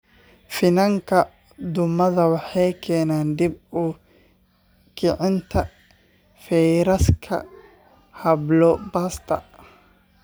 Finanka duumada waxaa keena dib u kicinta fayraska hablo-baasta.